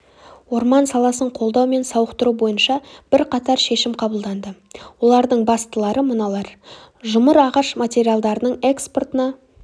орман саласын қолдау мен сауықтыру бойынша бірқатар шешім қабылданды олардың бастылары мыналар жұмыр ағаш материалдарының экспортына